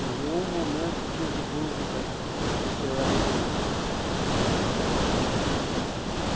Por nenhum momento tive dúvida de que eu era judeu.